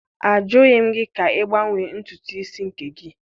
Ajụghị m gị ka ị gbanwee ntutu isi nke gị?